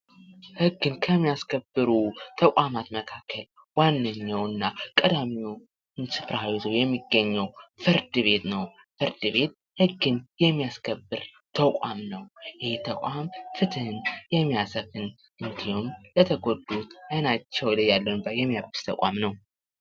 ህግን ከሚያስከብሩ ተቋማት መካከል ዋነኛዉ እና ቀዳሚዉን ስፍራ የሚገኘዉ ፍርድ ቤት ነዉ። ፍርድ ቤት ህግን የሚያስከብር ተቋም ነዉ። ይህ ተቋም ፍትህን የሚያሰፍን ለተጎዱ አይናቸዉ ላይ እንባ የሚያብስ ተቋም ነዉ።